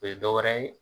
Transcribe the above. O ye dɔ wɛrɛ ye